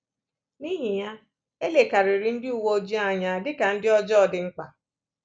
N’ihi ya, e lekarịrị ndị uwe ojii anya dị ka ndị ọjọọ dị mkpa.